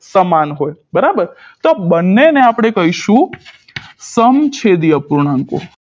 સમાન હોય બરાબર તો બંનેને આપણે કહીશું સમછેદી અપૂર્ણાંકો